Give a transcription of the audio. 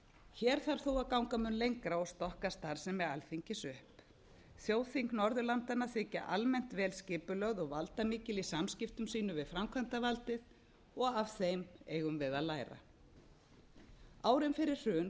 hér þarf þó að ganga mun lengra og stokka starfsemi alþingis upp þjóðþing norðurlandanna þykja almennt vel skipulögð og valdamikil í samskiptum sínum við framkvæmdavaldið og af þeim eigum við að læra árin fyrir hrun